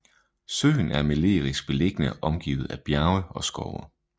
Søen er melerisk beliggende omgivet af bjerge og skove